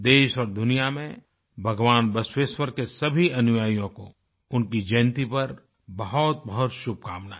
देश और दुनिया में भगवान बसवेश्वर के सभी अनुयायियों को उनकी जयन्ती पर बहुतबहुत शुभकामनाएँ